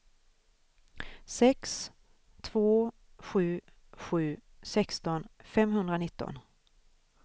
sex två sju sju sexton femhundranitton